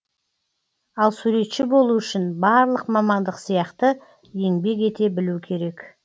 ал суретші болу үшін барлық мамандық сияқты еңбек ете білу керек